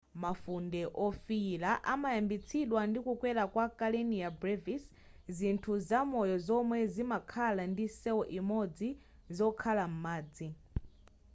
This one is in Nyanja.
mafunde wofiyira amayambitsidwa ndi kukwera kwa karenia brevis zinthu zamoyo zomwe zimakhala ndi cell imodzi zokhala m'madzi